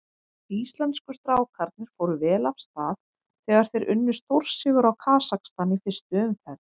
Íslensku strákarnir fóru vel af stað þegar þeir unnu stórsigur á Kasakstan í fyrstu umferð.